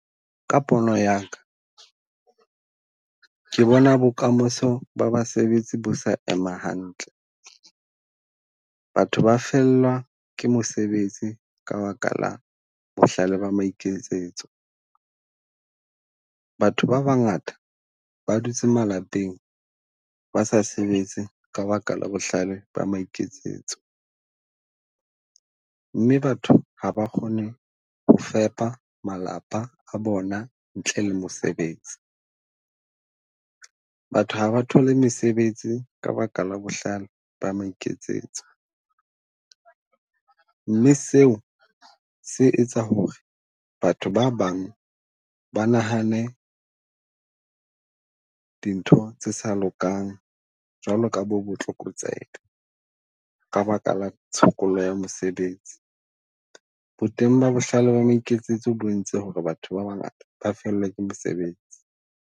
Ka pono ya ka, ke bona bokamoso ba basebetsi bo sa ema hantle. Batho ba fellwa ke mosebetsi ka baka la bohlale ba maikemisetso. Batho ba bangata ba dutse malapeng ba sa sebetse ka baka la bohlale ba maikemisetso, mme batho ha ba kgone ho fepa malapa a bona ntle le mosebetsi. Batho ha ba thole mesebetsi ka ba ka la bohlale ba mo iketsetsa, mme seo se etsa ho re batho ba bang ba nahane dintho tse sa lokang jwalo ka bo botlokotsebe ka baka la tshokollo ya mosebetsi. Bo teng ba bohlale ba mo iketsetse o bo entse ho re batho ba bangata ba fellwa ke mesebetsi.